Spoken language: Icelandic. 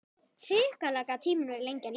Hrikalega gat tíminn verið lengi að líða.